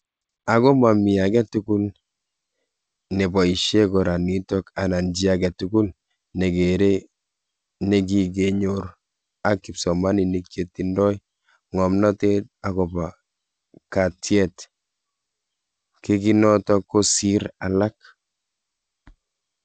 Ako mami che ake tugul ne baishe kora nitok anan chi ake tugul na kere ne kike nyor ak kipsomaninik che tindoi ngamnatet ako po katyet kei nitok ko sir alak.